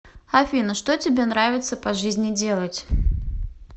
афина что тебе нравится по жизни делать